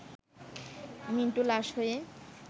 মিন্টু লাশ হয়ে